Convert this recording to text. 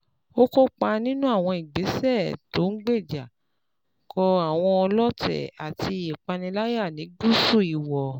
Ó kópa nínú àwọn ìgbésẹ̀ tó ń gbéjà kò àwọn ọlọ́tẹ̀ àti ìpániláyà ní Gúúsù Ìwọ̀